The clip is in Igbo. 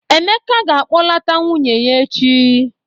Emeka ga-akpọlata nwunye echi.